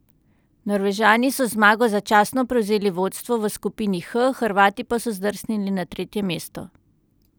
Norvežani so z zmago začasno prevzeli vodstvo v skupini H, Hrvati pa so zdrsnili na tretje mesto.